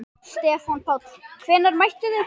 Stefán Páll: Hvenær mættuð þið?